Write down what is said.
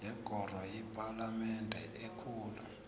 yekoro yepalamende ekulu